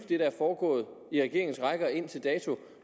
er foregået i regeringens rækker indtil dato